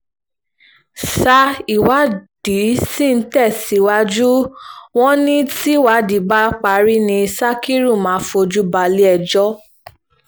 ṣá ìwádìí sì ń tẹ̀síwájú wọn ní tìwádìí bá parí ni sakiru máa fojú balẹ̀-ẹjọ́